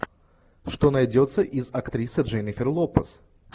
что найдется из актрисы дженнифер лопес